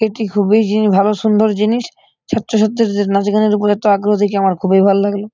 এটি খুবই জিন ভালো সুন্দর জিনিস। ছোট্ট ছোট্ট নাচগানের উপর এতো আগ্রহ দেখে আমার খুবই ভালো লাগলো।